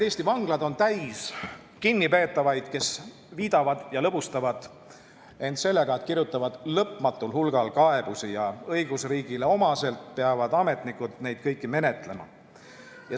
Eesti vanglad on täis kinnipeetavaid, kes viidavad aega ja lõbustavad end sellega, et kirjutavad lõpmatul hulgal kaebusi, ja õigusriigile omaselt peavad ametnikud neid kõiki menetlema.